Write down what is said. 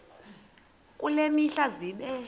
kule mihla zibe